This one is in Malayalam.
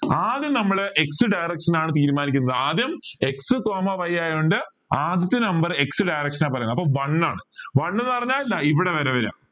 ആദ്യം നമ്മള് x direction നാണ് തീരുമാനിക്കുന്നത് ആദ്യം x coma y ആയോണ്ട് ആദ്യത്തെ number x direction ആണ് പറയുന്നത് one എന്ന് പറഞ്ഞാൽ ദാ ഇവിടെ വരെ വരിക